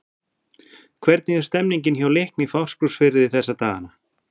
Hvernig er stemningin hjá Leikni Fáskrúðsfirði þessa dagana?